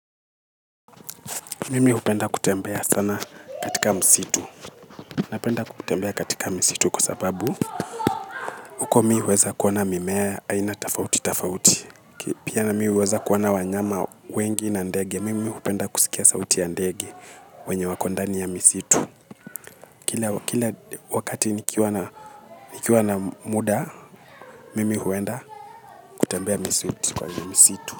Mimi hupenda kutembea sana katika msitu. Napenda kutembea katika misitu kwa sababu huko mimi huweza kuona mimea aina tofauti tofauti. Pia na mimi huweza kuona wanyama wengi na ndege. Mimi hupenda kusikia sauti ya ndege wenye wako ndani ya misitu. Kila wakati nikiwa na muda, mimi huenda kutembea misitu kwa msitu.